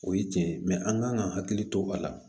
O ye tiɲɛ ye an kan ka hakili to a la